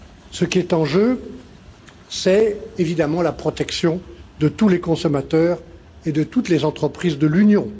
Ce qui est en jeu, c'est évidemment la protection de tous les consommateurs et de toutes les entreprises de l'Union.